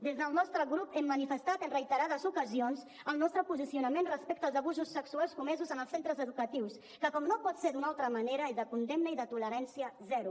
des del nostre grup hem manifestat en reiterades ocasions el nostre posicionament respecte als abusos sexuals comesos en els centres educatius que com no pot ser d’una altra manera és de condemna i de tolerància zero